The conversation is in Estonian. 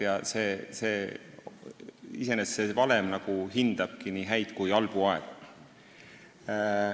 Iseenesest see valem hindabki nii häid kui ka halbu aegu.